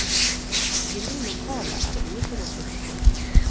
Inne i lokalet er det ingenting å sitte på.